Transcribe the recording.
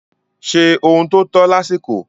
Ṣe ohun tó tọ́ lásìkò.